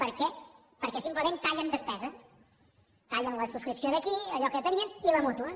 per què perquè simplement tallen despesa tallen la subscripció d’aquí allò que tenien i la mútua